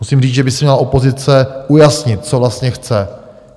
Musím říct, že by si měla opozice ujasnit, co vlastně chce.